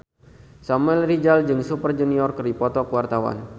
Samuel Rizal jeung Super Junior keur dipoto ku wartawan